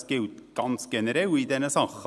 Dies gilt in diesen Bereichen generell.